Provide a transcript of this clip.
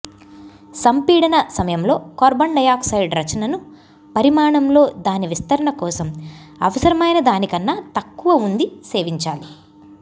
సంపీడన సమయంలో carbon dioxide రచనను పరిమాణం లో దాని విస్తరణ కోసం అవసరమైన దానికన్నా తక్కువ ఉంది సేవించాలి